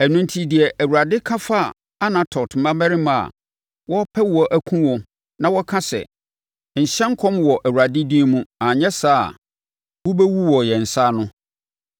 Ɛno enti deɛ Awurade ka fa Anatot mmarimma a wɔrepɛ wo akum wo na wɔka sɛ, “Nhyɛ nkɔm wɔ Awurade din mu anyɛ saa a, wobɛwu wɔ yɛn nsa ano,”